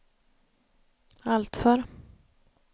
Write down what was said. alltför